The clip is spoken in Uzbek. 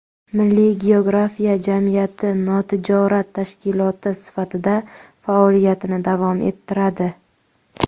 Milliy geografiya jamiyati notijorat tashkiloti sifatida faoliyatini davom ettiradi.